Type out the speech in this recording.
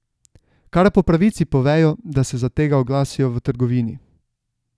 Kar po pravici povejo, da se za tega oglasijo v trgovini.